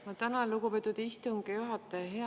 Ma tänan, lugupeetud istungi juhataja!